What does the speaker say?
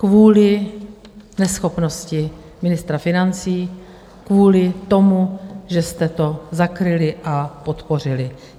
Kvůli neschopnosti ministra financí, kvůli tomu, že jste to zakryli a podpořili.